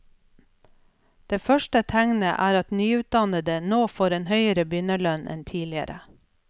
Det første tegnet er at nyutdannede nå får en høyere begynnerlønn enn tidligere.